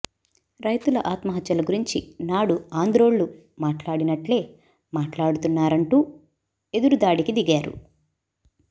రైతుల ఆత్మహత్యల గురించి నాడు ఆంధ్రోళ్లు మాట్లాడినట్లే మాట్లాడుతున్నారంటూ ఎదురుదాడికి దిగారు